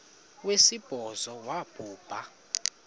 wesibhozo wabhu bha